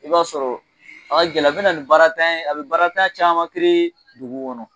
I b'a sɔrɔ a ka gɛlɛ a bɛ na ni baarantanya ye a bɛ baarantan caman dugu kɔnɔ